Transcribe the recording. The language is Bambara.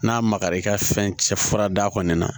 N'a magara i ka fɛn cɛ fura da kɔni na